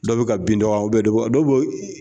Dɔ bɛ ka bin dɔ kan dɔ bɛ ka dɔ bɛ ka